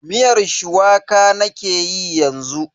Miyar shuwaka nake yi yanzu.